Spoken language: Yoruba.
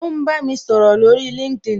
O ń bá mi sọ̀rọ̀ lórí LinkedIn